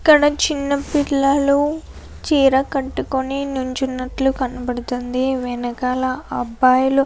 ఇక్కడ చిన్న పిల్లలు చీర కట్టుకొని నించ్చునట్లు కనపడుతుంది. వెనకాల అబ్బాయిలు --